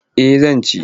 Eh zan ci.